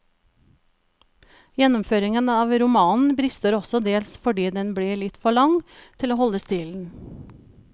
Gjennomføringen av romanen brister også dels fordi den blir litt for lang til å holde stilen.